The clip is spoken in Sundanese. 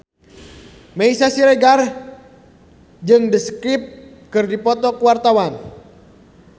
Meisya Siregar jeung The Script keur dipoto ku wartawan